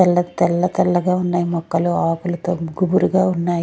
తెల్ల తెల్ల తెల్ల గా ఉన్నాయి మొక్కలు అకులతో గుబూరు గా ఉన్నాయి.